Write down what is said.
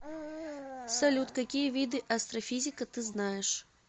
салют какие виды астрофизика ты знаешь